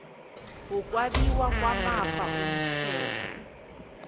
wokwabiwa kwamafa umthetho